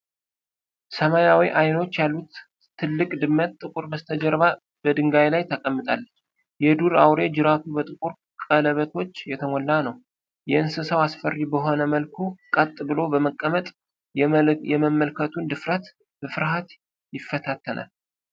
ሰማያዊ ዓይኖች ያሉት ትልቅ ድመት ጥቁር በስተጀርባ በድንጋይ ላይ ተቀምጣለች። የዱር አውሬው ጅራቱ በጥቁር ቀለበቶች የተሞላ ነው። እንስሳው አስፈሪ በሆነ መልኩ ቀጥ ብሎ በመቀመጥ የመመልከቱን ድፍረት በፍርሃት ይፈታተናል።